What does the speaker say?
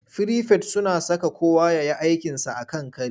Firifet suna saka kowa ya yi aikinsa a kan kari.